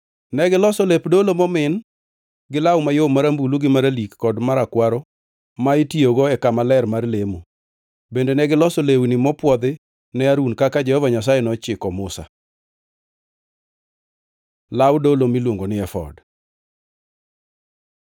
Negiloso lep dolo momin gi law mayom marambulu gi maralik kod marakwaro ma itiyogo e kama ler mar lemo. Bende negiloso lewni mopwodhi ne Harun kaka Jehova Nyasaye nochiko Musa. Law dolo miluongo ni efod